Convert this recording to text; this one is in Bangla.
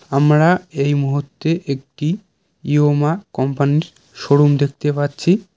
আমরা এই মুহূর্তে একটি ইয়োমা কোম্পানির শোরুম দেখতে পাচ্ছি।